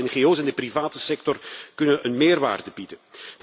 Lokale ngo's en de private sector kunnen een meerwaarde bieden.